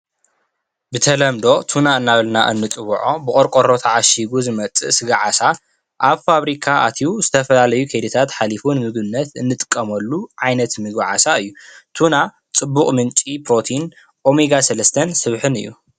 ብተለምዶ ቱና እናበልና እንፅውዖ ብቆርቆሮ ተዓሺጉ ዝመፅእ ስጋ ዓሳ ኣብ ፋብሪካ ኣትዩ ዝተፈላለዩ ከይድታት ሓሊፉ ንምግብነት እንጥቀመሉ ዓይነት ምግቢ ዓሳ እዩ። ቱና ፅቡቅ ምንጪ ፕሮቲን ኦሜጋ ሰለስተን ስብሕን እዩ።